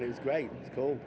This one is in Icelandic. í strætó